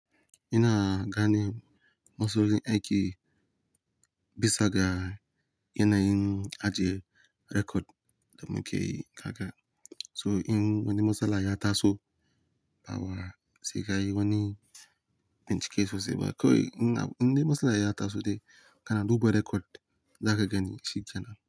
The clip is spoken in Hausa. Ina gane masalolin yin aiki bisa ga yanayin ajie rekod da muke kaka. So in wani matsala ya taso, bawa sigai wani bincike sosai ba. Kawai in na, in dai matsala ya taso dai, kana duba rekod za ka gani shi kenan.